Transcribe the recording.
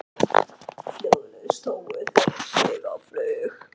Hljóðlaust hófu þeir sig á flug.